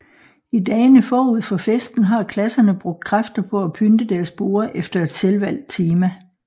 I dagene forud for festen har klasserne brugt kræfter på at pynte deres borde efter et selvvalgt tema